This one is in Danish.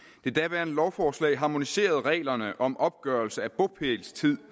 det daværende lovforslag harmoniserede reglerne om opgørelse af bopælstid